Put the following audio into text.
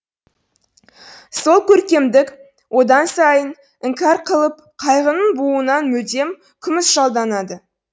сол көркемдік одан сайын іңкәр қылып қайғының буынан мүлдем күмісжалданады